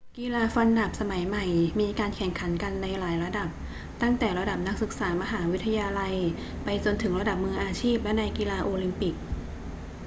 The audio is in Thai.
กีฬาฟันดาบสมัยใหม่มีการแข่งขันกันในหลายระดับ ตั้งแต่ระดับนักศึกษามหาวิทยาลัยไปจนถึงระดับมืออาชีพและในกีฬาโอลิมปิก